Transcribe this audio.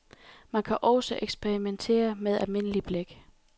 Man kan også eksperimentere med almindelig blæk.